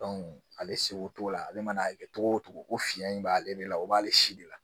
ale seko t'o la ale mana a kɛ togo o togo ko fiɲɛ in b'ale de la o b'ale si de la